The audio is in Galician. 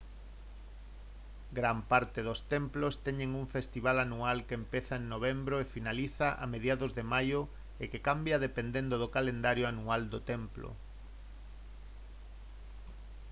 gran parte dos templos teñen un festival anual que empeza en novembro e finaliza a mediados de maio e que cambia dependendo do calendario anual do templo